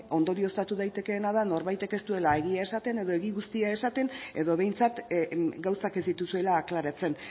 ondorioztatu daitekeena da norbaitek ez duela egia esaten edo egia guztia esaten edo behintzat gauzak ez dituzuela aklaratzen